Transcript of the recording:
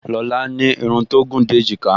Lọlá ní irun tó gùn dé èjìká